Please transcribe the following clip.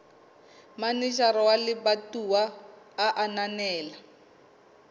manejara wa lebatowa a ananela